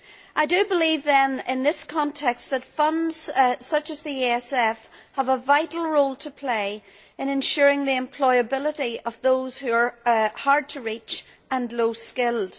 I do believe, then, in this context, that funds such as the ESF have a vital role to play in ensuring the employability of those who are hard to reach and low skilled.